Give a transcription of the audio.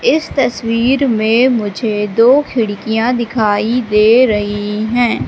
इस तस्वीर में मुझे दो खिड़कियां दिखाई दे रही हैं।